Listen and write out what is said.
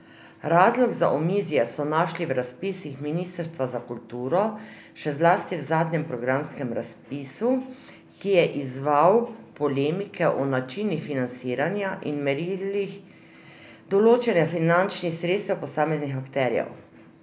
Razlog za omizje so našli v razpisih ministrstva za kulturo, še zlasti v zadnjem programskem razpisu, ki je izzval polemike o načinih financiranja in merilih določanja finančnih sredstev posameznim akterjem.